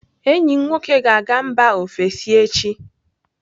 Enyi m nwoke ga-aga mba ofesi echi.